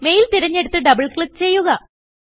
mail തിരഞ്ഞെടുത്ത് double click ചെയ്യുക